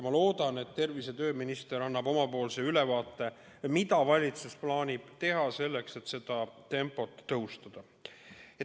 Ma loodan, et tervise- ja tööminister annab ülevaate, mida valitsus plaanib teha selleks, et seda tempot tõsta.